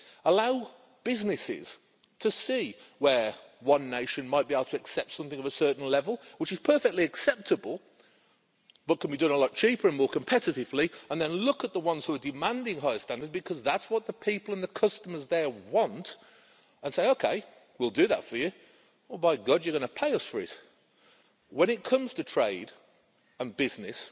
Allow businesses to see where one nation might be able to accept something of a certain level, which is perfectly acceptable but can be done a lot cheaper and more competitively, and then look at the ones who are demanding higher standards, because that's what the people and the customers there want and say OK, we'll do that for you, but by God you're going to pay us for it'. When it comes to trade and business,